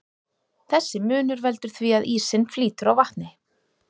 Þessi munur veldur því að ísinn flýtur á vatni.